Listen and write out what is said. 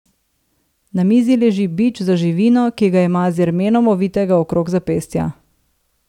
Na mizi leži bič za živino, ki ga ima z jermenom ovitega okrog zapestja.